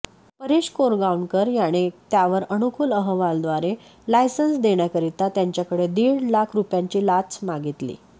परेश कोरगांवकर याने त्यावर अनुकुल अहवालद्वारे लायसन्स देण्याकरीता त्यांच्याकडे दीड लाख रुपयांची लाच मागितली